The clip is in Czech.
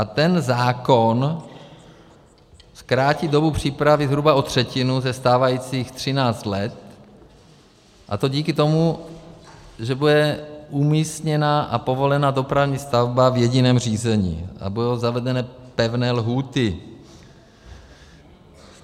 A ten zákon zkrátí dobu přípravy zhruba o třetinu ze stávajících 13 let, a to díky tomu, že bude umístěna a povolena dopravní stavba v jediném řízení a budou zavedeny pevné lhůty.